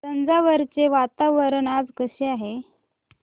तंजावुर चे वातावरण आज कसे आहे